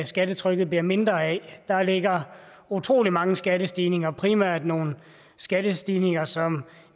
skattetrykket bliver mindre af der ligger utrolig mange skattestigninger primært nogle skattestigninger som